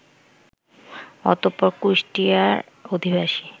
অতঃপর কুষ্টিয়ার অধিবাসী